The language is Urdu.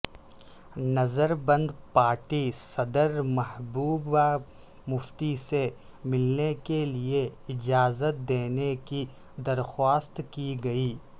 نظر بند پارٹی صدر محبوبہ مفتی سے ملنے کیلئے اجازت دینے کی درخواست کی گئی